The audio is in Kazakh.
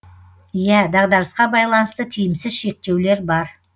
иә дағдарысқа байланысты тиімсіз шектеулер бар